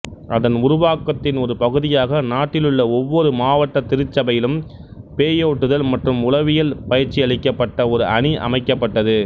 அதன் உருவாக்கத்தின் ஒரு பகுதியாக நாட்டிலுள்ள ஒவ்வொரு மாவட்ட திருச்சபையிலும் பேயோட்டுதல் மற்றும் உளவியலில் பயிற்சியளிக்கப்பட்ட ஒரு அணி அமைக்கப்பட்டது